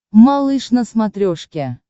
малыш на смотрешке